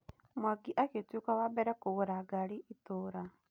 Mwangi agĩtuĩka wambere kũgũra ngari itũra.